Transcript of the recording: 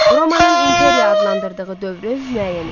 Romanın imperiya adlandırdığı dövrü müəyyən eləyin.